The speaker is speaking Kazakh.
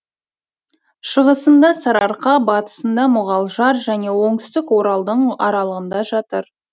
шығысында сарыарқа батысында мұғалжар және оңтүстік оралдың аралығында жатыр